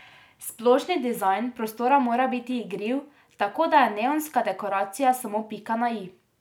Splošni dizajn prostora mora biti igriv, tako da je neonska dekoracija samo pika na i.